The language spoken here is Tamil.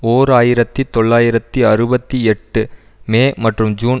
ஓர் ஆயிரத்தி தொள்ளாயிரத்தி அறுபத்தி எட்டு மே மற்றும் ஜூன்